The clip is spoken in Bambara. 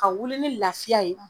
Ka wuli ni lafiya ye